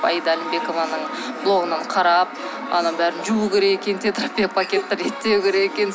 аида алімбекованың блогынан қарап ананың бәрін жуу керек екен деп тетрапакетті реттеу керек екен